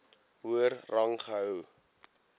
hoër rang gehou